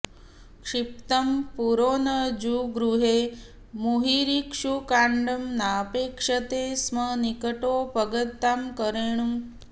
क्षिप्तं पुरो न जगृहे मुहुरिक्षुकाण्डं नापेक्षते स्म निकटोपगतां करेणुं